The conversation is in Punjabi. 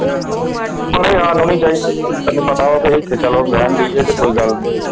ਉਹਨੂੰ ਯਾਦ ਹੋਣਾ ਚਾਹੀਦਾ ਕਿ ਉਹਦੇ ਹਿੱਸੇ ਚਲੋ ਰਹਿਣ ਡਈ ਤੇ ਕੋਈ ਗੱਲ ਨਹੀਂ।